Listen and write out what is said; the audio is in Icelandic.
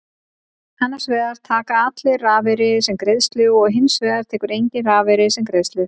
Annars vegar taka allir rafeyri sem greiðslu og hins vegar tekur enginn rafeyri sem greiðslu.